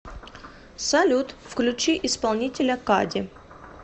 салют включи исполнителя кади